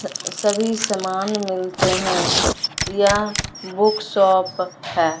सभी सामान मिलते हैं या बुक शॉप है।